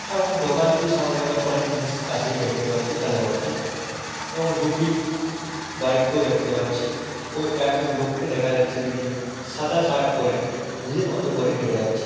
এবং দোকানটি সামনে আমরা অনেক জিনিস আছে দেখতে পাচ্ছি সাজানো আছে এবং দুটি বাইক কেও দেখতে পাচ্ছি |ও একজন লোককে দেখা যাচ্ছে যিনি সাদা শার্ট পড়ে নিজের মতো করে হেঁটে যাচ্ছে ।